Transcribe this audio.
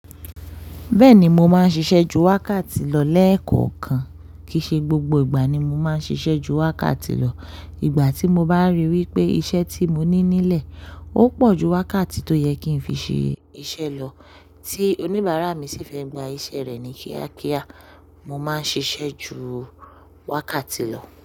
Bẹ́ẹ̀ni mo máa ń ṣiṣẹ́ ju wákàtí lọ lẹ́ẹ̀kọ̀kan. Kìí ṣe gbogbo ìgbà ni mo máa ń ṣiṣẹ́ ju wákàtí lọ. Ìgbà tí mo bá ríi wí pé iṣẹ́ tí mo ní nílẹ̀ ó pọ̀ ju wákàtí tó yẹ kí n fi ṣe iṣẹ́ lọ, tí oníbàárà mi sì fẹ́ gba iṣẹ́ rẹ̀ ní kíákíá, mo máa ń ṣiṣẹ́ ju wákàtí lọ.